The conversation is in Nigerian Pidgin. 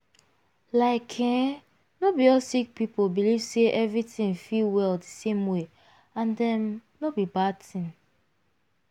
like eeh no be all sick people believe say everybody fit well di same way and um no be bad tin.